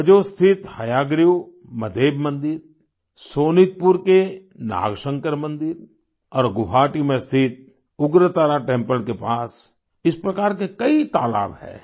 हजो स्थित हयाग्रीव मधेब मंदिर सोनितपुर के नागशंकर मंदिर और गुवाहाटी में स्थित उग्रतारा टेम्पल के पास इस प्रकार के कई तालाब हैं